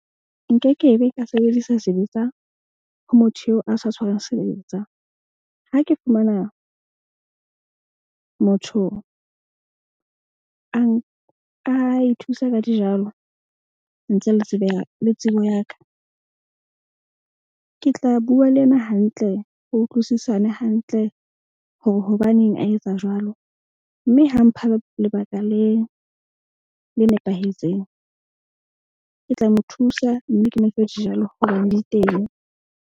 Nke ke be ka sebedisa sebetsa ho motho eo a sa tshwarang sebetsa. Ha ke fumana motho a ithusa ka dijalo. Ntse le tsebela le tsebo ya ka. Ke tla bua le yena hantle ho utlwisisane hantle hore hobaneng a etsa jwalo. Mme ha mpha lebaka le nepahetseng. Ke tla mo thusa, mme ke mo fe dijalo hobane di teng.